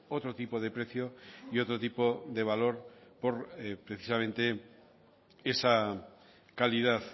otro tipo de precio y otro tipo de valor por precisamente esa calidad